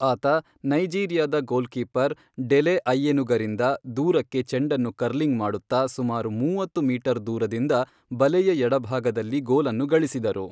ಆತ ನೈಜೀರಿಯಾದ goalkeeper Dele ಐಯೆನುಗರಿಂದ ದೂರಕ್ಕೆ ಚೆಂಡನ್ನು ಕರ್ಲಿಂಗ್ ಮಾಡುತ್ತ ಸುಮಾರು ಮೂವತ್ತು ಮೀಟರ್ ದೂರದಿಂದ ಬಲೆಯ ಎಡಭಾಗದಲ್ಲಿ ಗೋಲನ್ನು ಗಳಿಸಿದರು.